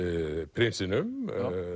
prinsinum